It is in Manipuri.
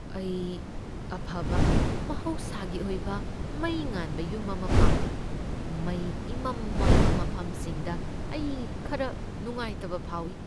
ꯑꯩ ꯑꯐꯕ ꯃꯍꯧꯁꯥꯒꯤ ꯑꯣꯏꯕ ꯃꯩ ꯉꯥꯟꯕ ꯌꯨꯝ ꯑꯃ ꯄꯥꯝꯃꯤ, ꯃꯩ ꯏꯃꯝ ꯃꯝꯕ ꯃꯐꯝꯁꯤꯡꯗ ꯑꯩ ꯈꯔ ꯅꯨꯡꯉꯥꯢꯇꯕ ꯐꯥꯎꯏ꯫